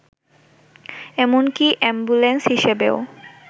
এমনকি অ্যাম্বুলেন্স হিসেবেও